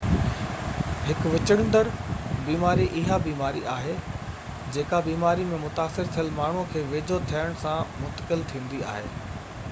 هڪ وچڙندڙ بيماري اها بيماري آهي جيڪا بيماري ۾ متاثر ٿيل ماڻهو جي ويجهو ٿيڻ سان منتقل ٿيندي آهي